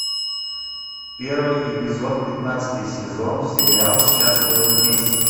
первый эпизод пятнадцатый сезон сериал счастливы вместе